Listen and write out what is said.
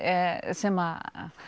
sem